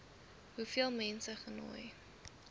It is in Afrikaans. hoeveel mense genooi